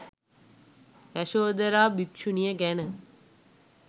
යශෝධරා භික්ෂුණිය ගැන